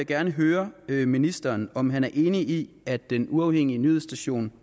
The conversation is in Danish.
gerne høre ministeren om han er enig i at den uafhængige nyhedsstation